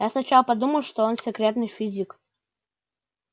я сначала подумала что он секретный физик